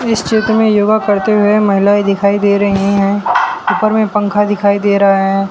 इस चित्र में योगा करते हुए महिलाएं दिखाई दे रही हैं ऊपर में पंखा दिखाई दे रहा है।